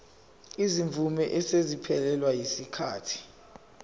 izimvume eseziphelelwe yisikhathi